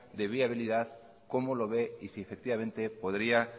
de viabilidad cómo lo ve y si efectivamente podría